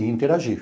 E interagir.